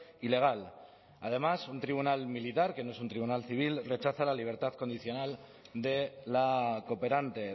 ilegal además un tribunal militar que no es un tribunal civil rechaza la libertad condicional de la cooperante